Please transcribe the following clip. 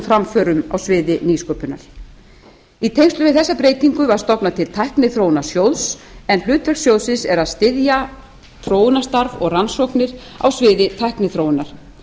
framförum á sviði nýsköpunar í tengslum við þessa breytingu var stofnað til tækniþróunarsjóðs en hlutverk sjóðsins er að styðja þróunarstarf og rannsóknir á sviði tækniþróunar